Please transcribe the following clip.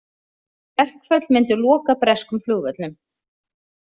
Verkföll myndu loka breskum flugvöllum